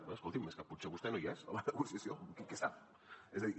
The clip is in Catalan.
bé escolti’m és que potser vostè no hi és a la negociació vostè què sap és a dir